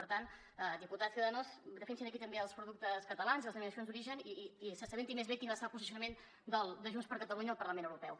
per tant diputat de ciudadanos defensi aquí també els productes catalans i les denominacions d’origen i s’assabenti més bé de quin va ser el posicionament de junts per catalunya al parlament europeu